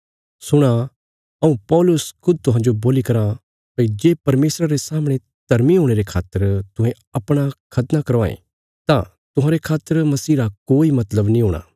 सुणा हऊँ पौलुस खुद तुहांजो बोल्ली कराँ भई जे परमेशरा रे सामणे धर्मी हुणे रे खातर तुहें अपणा खतना करवांगे तां तुहांरे खातर मसीह रा कोई मतलब नीं हूणा